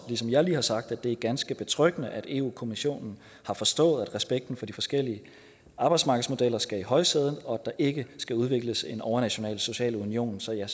ligesom jeg lige har sagt at det er ganske betryggende at europa kommissionen har forstået at respekten for de forskellige arbejdsmarkedsmodeller skal i højsædet og at der ikke skal udvikles en overnational social union så jeg